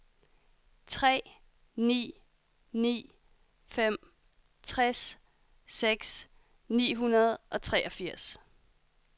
tre ni ni fem tres seks hundrede og treogfirs